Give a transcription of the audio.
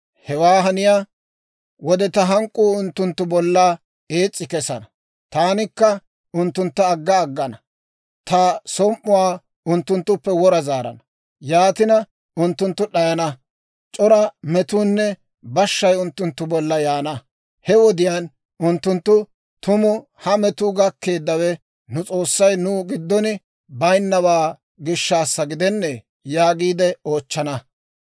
Hewe haniyaa wode, ta hank'k'uu unttunttu bolla ees's'i kesana. Taanikka unttuntta agga aggana; ta som"uwaa unttunttuppe wora zaarana. Yaatina, unttunttu d'ayana; c'ora metuunne bashshay unttunttu bolla yaana. He wodiyaan unttunttu, ‹Tumu ha metuu gakkeeddawe nu S'oossay nu giddon bayinnawaa gishshaassa gidennee?› yaagiide oochchana.